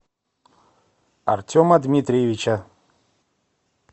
артема дмитриевича